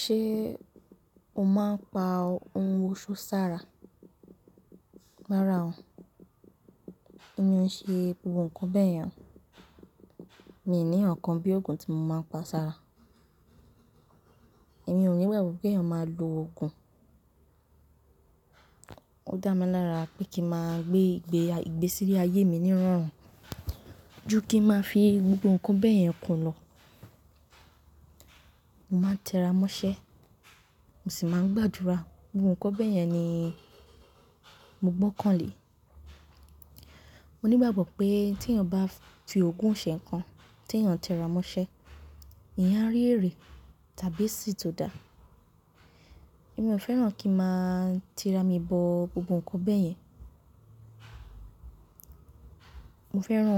Ṣé o máa ń pa ohun òṣó sára? Rárá o, èmi ò n ṣe gbogbo ǹkan bẹ́ẹ̀ yẹn. Mi ò ní ǹkan bí òògùn tí mo máa ń pa sára. Èmi ò ní ìgagbo ké èèyàn máa lo òògùn. Ó dá mi lára pé kí máa gbé ìgbésí ayé mi nírọ̀rùn ju kí ń máa fi gbogbo ǹkan bẹ́ẹ̀ yẹn kùn lọ. Mo máa ń tẹra mọ́ṣẹ́, mo sì máa ń gbàdúrà. Gbogbo ǹkan bẹ́ẹ̀ yẹn ni mo gbọ́kàn lé. Mo ní ìgbàgbọ́ pé tèèyàn bá fi òògùn ṣe ǹkan tèèyàn ń tẹra mọ́ṣẹ́, eeyan á rí èrè tàbí esì tó dáa. Èmi ò fẹ́ràn kí ń máa ti ra mi bọ gbogbo ǹkan bẹ́ẹ̀ yẹn. Mo fẹ́ràn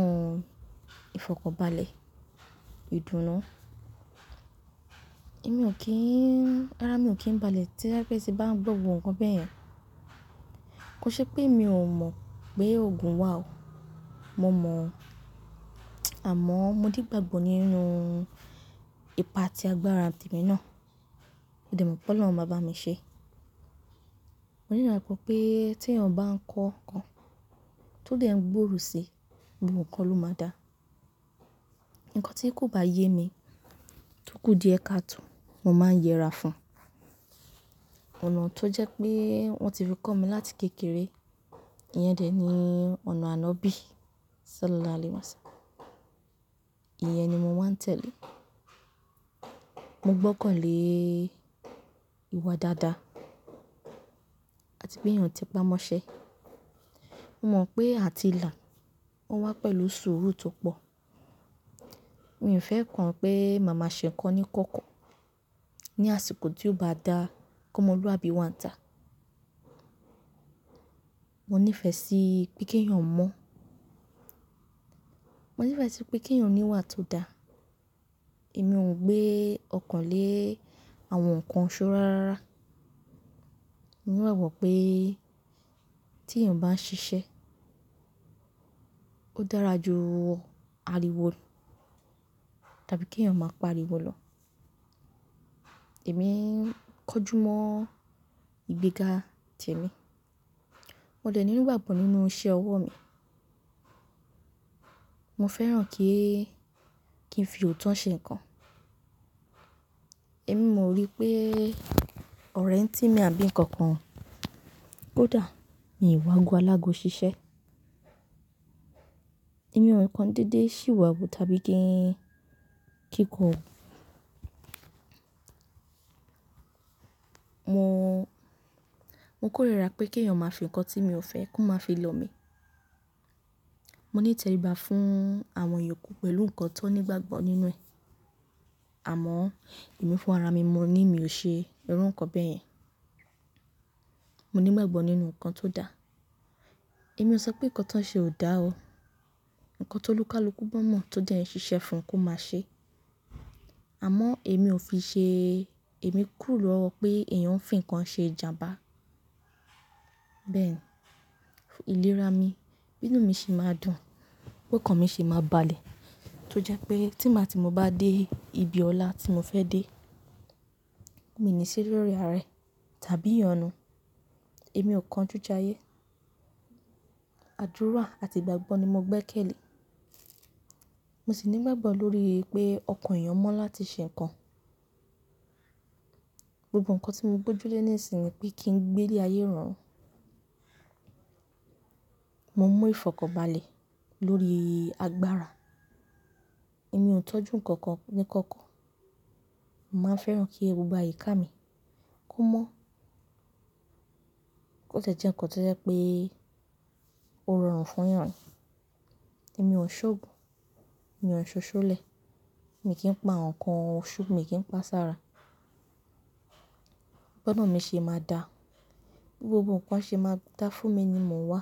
ìfọ̀kanbalẹ̀, ìdùnnú. Árá mi ò kí ń balẹ̀ toje pe ti n bá ń gbọ́ gbogbo ǹkan bẹ́ẹ̀ yẹn. Kò ṣe pé mi ò mọ̀ pé òògùn wà o, mo mọ̀ o. Àmọ́ mo nigbagbọ nínú ipa ati agbára temi náà. Mo dẹ̀ mọ̀ pe olọ́run máa bá mi ṣe. Mo ní ìgbàgbọ́ pé tèèyàn bá ń kọ ǹkan, tó dẹ̀ ń gbòòrò sí i, gbogbo ǹkan ló máa dáa. Ǹkan tí kò bá yé mi tó kù díẹ̀ káàtò, mo máa ń yẹra fún. Ọ̀nà tó jẹ́ pé wọ́n ti fi kọ́ mi láti kékeré, ìyẹn dẹ̀ ni ọ̀nà ànobí. Ṣálá laálì wáṣa. Ìyẹn ni mo máa ń tẹ̀lé. Mo gbọ́kàn lé ìwà dáadáa àti pé èèyàn tẹ pamọ́ṣẹ́. Mo mọ̀ pé àti là o wá pẹ̀lú sùúrù tó pọ̀. Mi ò fẹ́ kàn pé màmá ṣe ǹkan níkọ̀kọ̀ ní àsìkò tí ó bá dáa ki ọmọluàbí wáǹtà. Mo nífẹ̀ẹ́ sí pé kí èèyàn mọ́. Mo nífẹ̀ẹ́ sí pé kí èèyàn ní ìwà tó dáa. Èmi ò gbé ọ̀kan lé àwọn ǹkan òṣó rárá. Mo ní ìgbàgbọ pé tí èèyàn bá ń ṣiṣẹ́, ó dára ju ariwo tàbí kí èèyàn máa pariwo lọ. Èmi ń kọjú mọ́ ìgbéga tèmi. Mo dẹ̀ ní gbàgbọ́ nínú iṣẹ́ ọwọ́ mi. Mo fẹ́ràn kí ń fi òótọ́ ṣe ǹkan. Èmi ò rí pé ọ̀rẹ́ ń tì mí àbí ǹkan kan ko dà. Mi ò wáago alágó ṣiṣẹ́. Èmi ò rí ǹkan dédé sìwà wu tàbí kí ń kíkọ. Mo kórìíra pé kí èèyàn máa fi ǹkan tí èmi ò fẹ́ kó máa fi lọ mi. Mo ní ìtẹríba fún àwọn ìyókù pẹ̀lú ǹkan tó ní ìgbàgbọ́ nínú rẹ̀. Àmọ́ èmi fún ara mi mo ní mi ò ṣe irú ǹkan bẹ́ẹ̀ yẹn. Mo ní ìgbàgbọ́ nínú ǹkan tó dáa. Èmi ò sọ pé ǹkan tó ń ṣe ò dáa o. Ǹkan tó lúkàlùkú bamọ̀ tó dẹ̀ ń ṣiṣẹ́ fún kó máa ṣe. Àmọ́ èmi o fiṣe èmi kúrò lọwọ pé èèyàn ń fi ǹkan ṣe ìjàmbá. Bẹ́ẹ̀ ni ìlera mi, bínú mi ṣe máa dùn, pé kan mi sì máa balẹ̀ tó jẹ́ pé tí má ti mo bá dé ibi ọlá tí mo fẹ́ dé, mi ní sí lori arẹ tàbí ìyọnu. Èmi ò kan ojú jayé. Àdúrà àti ìgbàgbọ́ ni mo gbẹ́kẹ̀lé. Mo sì ní ìgbàgbọ́ lórí pé ọkàn èèyàn mọ́ láti ṣe ǹkan. Gbogbo ǹkan tí mo gbójú lé nìsìn ni pé kí ń gbé ilé ayé rọrùn. Mo ń mú ìfọ̀kọ̀balẹ̀ lórí agbára. Èmi ò tọ́jú ǹkan kankan oníkọ̀kọ̀. Mo máa ń fẹ́ràn kí gbogbo àyíká mi kó mọ́ kó tẹ̀ jẹ̀ ǹkan tó jẹ́ pé ó rọrùn fún èèyàn. Èmi ò ń ṣògùn, mi ò ń ṣoṣọlẹ̀, mi kì í pa àwọn ǹkan òṣo, mi kì í pa sára. Bọ́nà mi se máa dà. Gbogbo ǹkan ṣe máa dà fún mi ni mo wá.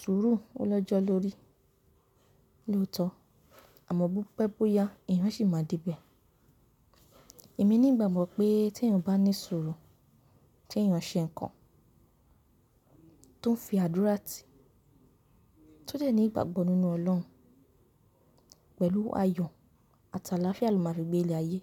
Sùúrù ó lọ́jọ́ lórí lóòótọ́ àmọ́ bó pẹ́ bó yá èèyàn sì máa dé ibẹ̀. Èmi ní ìgbàgbọ́ pé tí èèyàn bá ní sùúrù, tí èèyàn ṣe ǹkan tó ń fi àdúrà tì, tó dẹ̀ ní ìgbàgbọ́ nínú Ọlọ́run pẹ̀lú ayọ̀ àti àlàáfíà ló máa fi gbé ilé ayé.